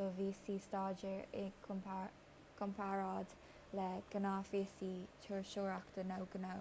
do víosaí staidéir i gcomparáid le gnáthvíosaí turasóireachta nó gnó